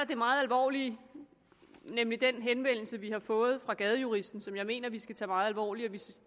det meget alvorlige nemlig den henvendelse vi har fået fra gadejuristen som jeg mener vi skal tage meget alvorligt